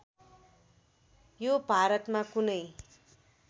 यो भारतमा कुनै